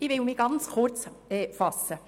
Ich werde mich sehr kurz fassen.